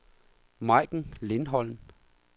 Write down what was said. Majken Lindholm